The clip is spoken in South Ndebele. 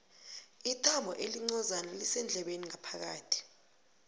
ithambo elincozana lisendlebeni phakathi